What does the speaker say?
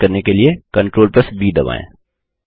paste करने के लिए CTRLV दबाएँ